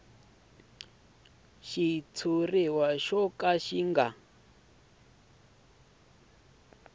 xitshuriwa xo ka xi nga